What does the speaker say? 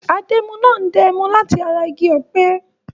Adẹ́mu náà ń dá ẹmu láti ara igi ọ̀pẹ.